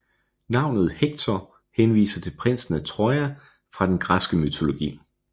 Navnet Hector henviser til prinsen af Troja fra den græske mytologi